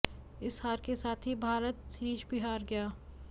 इस हार के साथ ही भारत सीरीज भी हार गया